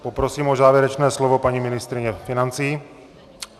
Poprosím o závěrečné slovo paní ministryni financí.